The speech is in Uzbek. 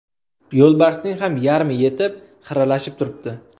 Yo‘lbarsning ham yarmi ketib, xiralashib turibdi.